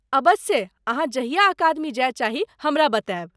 अबस्से, अहाँ जहिया अकादमी जाय चाही, हमरा बतायब।